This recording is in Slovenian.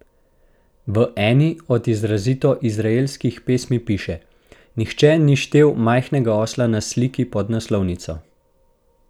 V eni od izrazito izraelskih pesmi piše: "Nihče ni štel majhnega osla na sliki pod naslovnico.